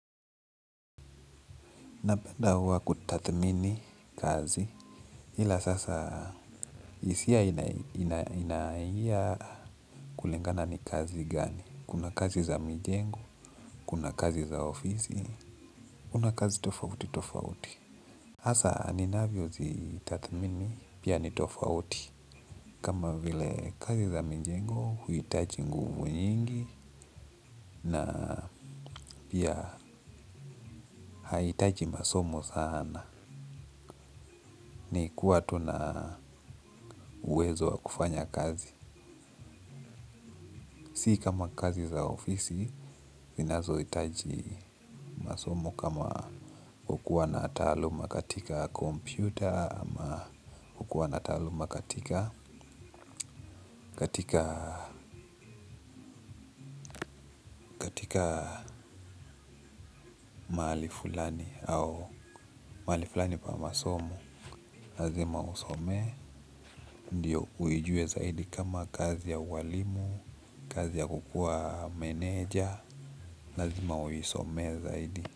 Napenda huwa kutathmini kazi. Ila sasa hisia inaingia kulingana ni kazi gani. Kuna kazi za mijengo, kuna kazi za ofisi, kuna kazi tofauti tofauti. Hasa ninavyozitathmini pia ni tofauti kama vile kazi za mijengo uhitaji nguvu nyingi na pia haihitaji masomo sana ni kuwa tu na uwezo wa kufanya kazi. Si kama kazi za ofisi, zinazohitaji masomo kama kukuwa na taaluma katika kompyuta ama kukuwa na taaluma katika mahali fulani au mahali fulani pa masomo lazima uisomee, ndio uijue zaidi kama kazi ya ualimu, kazi ya kukuwa meneja, lazima uisomee zaidi.